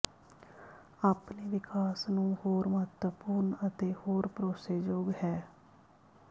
ਆਪਣੇ ਵਿਕਾਸ ਨੂੰ ਹੋਰ ਮਹੱਤਵਪੂਰਨ ਅਤੇ ਹੋਰ ਭਰੋਸੇਯੋਗ ਹੈ